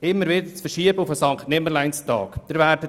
Sie wird immer wieder auf den Sankt-Nimmerleins-Tag verschoben.